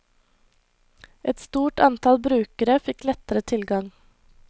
Et stort antall brukere fikk lettere tilgang.